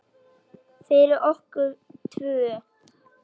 Fyrir okkur tvö.